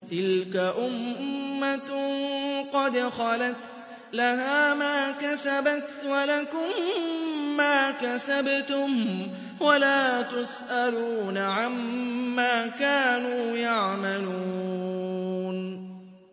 تِلْكَ أُمَّةٌ قَدْ خَلَتْ ۖ لَهَا مَا كَسَبَتْ وَلَكُم مَّا كَسَبْتُمْ ۖ وَلَا تُسْأَلُونَ عَمَّا كَانُوا يَعْمَلُونَ